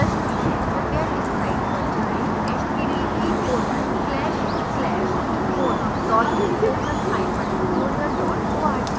कृपया इस साइट पर जाएँ